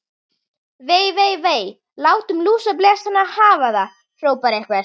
Vei, vei, vei. látum lúsablesana hafa það hrópaði einhver.